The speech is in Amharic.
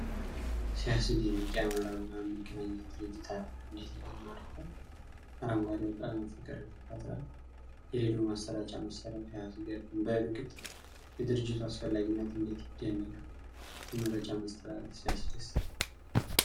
ሲያስደንቅ! የአማራ ብዙኃን መገናኛ ድርጅት አርማ እንዴት ይማርካል! አረንጓዴው ቀለም ፍቅርን ይፈጥራል! የሬዲዮ ማሰራጫ መሳሪያው ሲያስገርም! በእርግጥ የድርጅቱ አስፈላጊነት እንዴት ይደነቃል! የመረጃ ማስተላለፍ ሲያስደስት!